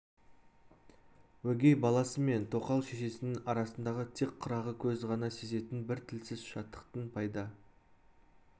өгей баласы мен тоқал шешесінің арасындағы тек қырағы көз ғана сезетін бір тілсіз шаттықтың пайда